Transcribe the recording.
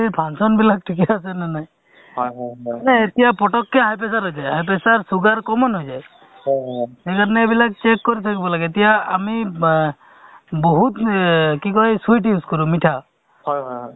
ভিতৰে ভিতৰে সোমাই তেওঁলোক অ প্ৰথম যিটো তেওঁলোকক demo দেখুৱাই বা তেনেকাধৰণৰ সভা বা meeting আকাৰে তেওঁলোকক বুজাই ধৰা এটা pregnant woman ক অ যিটো ধৰা অ ওব saas বাঁহ beta সন্মিল হয়